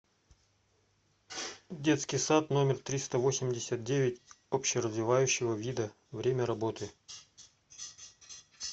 детский сад номер триста восемьдесят девять общеразвивающего вида время работы